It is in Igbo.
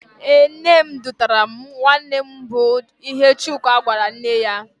Ee, nne edutere m nwanne mụ bụ ihe Chuka gwara nne ya.